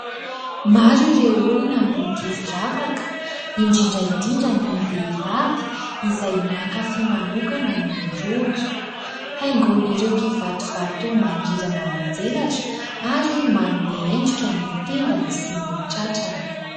Maro ireo olona no tia firavaka indrindra indrindra ny vehivavy izay mankafy manokana ny rôjo. Haingon'ireo "kivato" vato mangirana manjelatra ary manome endrika ny tendany sy ny tratrany.